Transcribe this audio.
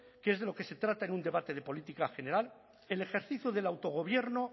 que es de lo que se trata en un debate de política general el ejercicio del autogobierno